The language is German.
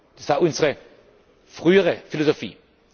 Das war unsere frühere Philosophie.